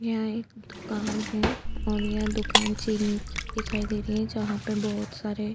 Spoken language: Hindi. यह एक दुकान है और यह दुकान चीनी की दिखाई दे रही है जहां पे बहुत सारे --